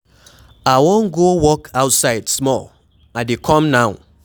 I wan go walk outside small, I dey come now.